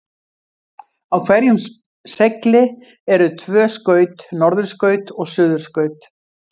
Á hverjum segli eru tvö skaut, norðurskaut og suðurskaut.